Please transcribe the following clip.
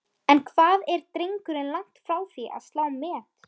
En hvað er drengurinn langt frá því að slá met?